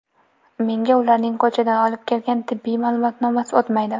Menga ularning ko‘chadan olib kelgan tibbiy ma’lumotnomasi o‘tmaydi.